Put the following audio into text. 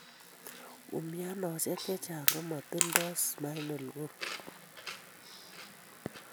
Umianosiek chechang' komatildoo spinal cord